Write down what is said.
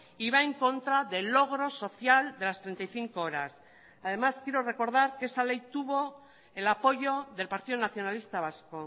y va en contra del logro social de las treinta y cinco horas además quiero recordar que esa ley tuvo el apoyo del partido nacionalista vasco